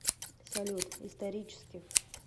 салют исторически